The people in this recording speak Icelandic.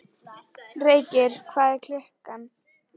Feykir, hvað er klukkan?